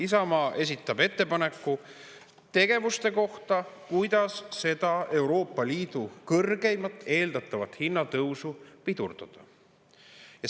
Isamaa esitab ettepaneku tegevuste kohta, millega seda eeldatavat Euroopa Liidu kõrgeimat hinnatõusu pidurdada.